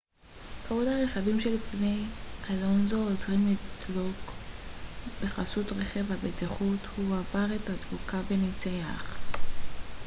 בעוד הרכבים שלפני אלונזו עוצרים לתדלוק בחסות רכב הבטיחות הוא עבר את הדבוקה וניצח